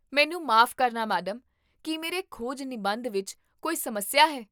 ਮੈਨੂੰ ਮਾਫ਼ ਕਰਨਾ, ਮੈਡਮ, ਕੀ ਮੇਰੇ ਖੋਜ ਨਿਬੰਧ ਵਿੱਚ ਕੋਈ ਸਮੱਸਿਆ ਹੈ?